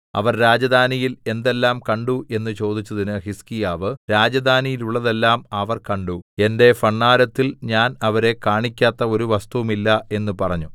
അവർ രാജധാനിയിൽ എന്തെല്ലാം കണ്ടു എന്ന് ചോദിച്ചതിന് ഹിസ്കീയാവ് രാജധാനിയിലുള്ളതെല്ലാം അവർ കണ്ടു എന്റെ ഭണ്ഡാരത്തിൽ ഞാൻ അവരെ കാണിക്കാത്ത ഒരു വസ്തുവും ഇല്ല എന്ന് പറഞ്ഞു